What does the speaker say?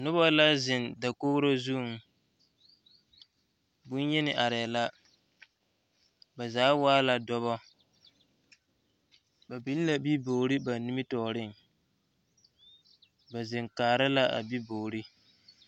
Noba la zeŋ dakogre zuŋ bonyeni arɛɛ la ba zaa waa la dɔba ba biŋ la bibogre ba nimitɔɔreŋ ba zeŋ kaara la a bibogre.